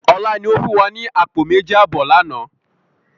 Ọlá ni ó fún wa ní àpò méjì àbọ̀ lànà